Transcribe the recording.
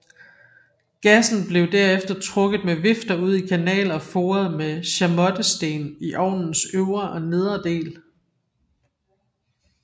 Gassen blev der efter trukket med vifter ud i kanaler forede med chamottesten i ovnens øvre og nedre del